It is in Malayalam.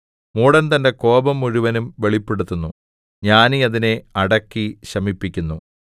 മൂഢൻ തന്റെ കോപം മുഴുവനും വെളിപ്പെടുത്തുന്നു ജ്ഞാനി അതിനെ അടക്കി ശമിപ്പിക്കുന്നു